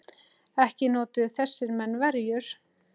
Ekki notuðu þessir menn verjur.